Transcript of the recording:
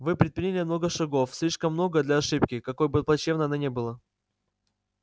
вы предприняли много шагов слишком много для ошибки какой бы плачёвной она ни была